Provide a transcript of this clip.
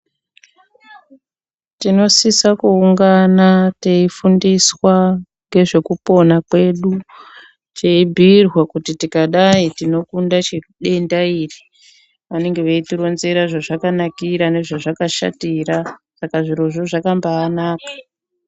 Tinosisa kuungana teifundiswa ngezvekupona kwedu teibhiirwa kuti tikadai tinokunde chi denda iri .Vanenge veiitironzera zvezvakanakira nezvezvakashatira , saka zvirozvo zvakabaanaka .